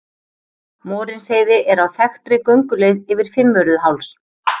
Morinsheiði er á þekktri gönguleið yfir Fimmvörðuháls.